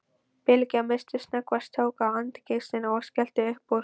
Bylgja missti snöggvast tök á angistinni og skellti upp úr.